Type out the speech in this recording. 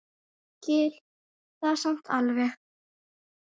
Ég skil það samt alveg.